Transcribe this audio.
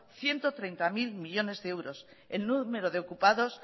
ciento treinta mil millónes de euros el número de ocupados